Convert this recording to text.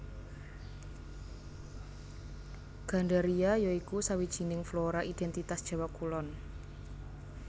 Gandaria ya iku sawijining flora identitas Jawa kulon